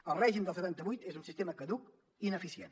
el règim del setanta vuit és un sistema caduc i ineficient